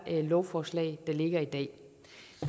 lovforslag der ligger i dag